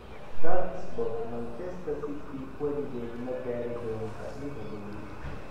(Talksport) Man City weligeed ma gaari doontaa Liverpool?